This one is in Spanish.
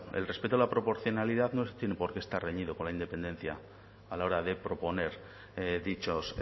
el respeto a la proporcionalidad no tiene por qué estar reñido con la independencia a la hora de proponer dichos